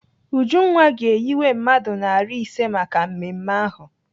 Ujunwa ga-eyiwe mmadụ narị ise maka mmemme ahụ.